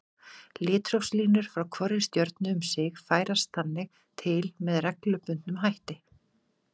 Litrófslínur frá hvorri stjörnu um sig færast þannig til með reglubundnum hætti.